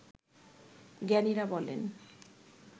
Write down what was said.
জ্ঞানীরা বলেন